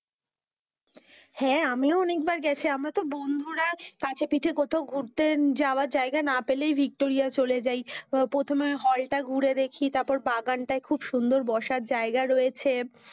হেঁ, আমিও অনেক বার গেছি, আমরা তো বন্ধুরা কাছে পিঠে কোথাও ঘুরতে জায়গা না পেলেই ভিক্টোরিয়া চলে যাই, প্রথমে hall টা ঘুরে দেখি, তার পর বাগান টাই খুব সুন্দর বসার জায়গা রয়েছে,